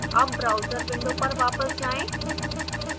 अब browser window पर वापस जाएँ